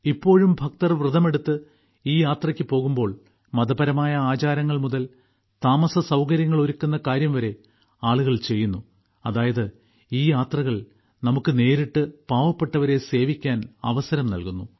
ഇപ്പോഴും ഭക്തർ വ്രതമെടുത്ത് ഈ യാത്രക്ക് പോകുമ്പോൾ മതപരമായ ആചാരങ്ങൾ മുതൽ താമസ സൌകര്യങ്ങൾ ഒരുക്കുന്ന കാര്യം വരെ ആളുകൾ ചെയ്യുന്നു അതായത് ഈ യാത്രകൾ നമുക്ക് നേരിട്ട് പാവപ്പെട്ടവരെ സേവിക്കാൻ അവസരം നൽകുന്നു